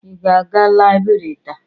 Ị ga-aga Laibri taa?